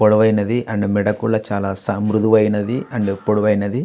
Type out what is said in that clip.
పొడవైనది and మెడ కూడా చాలా మృదువైనది అండ్ పొడవైనది.